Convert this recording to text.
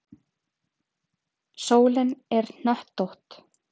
Sólin er hnöttótt